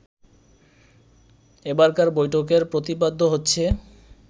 এবারকার বৈঠকের প্রতিপাদ্য হচ্ছে